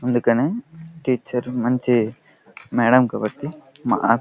అందుకని టీచర్ మంచి మేడం కాబట్టి --